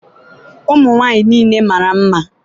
ụmụ nwanyị niile mara mma!